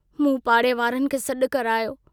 मूं पाड़े वारनि खे सडु करायो।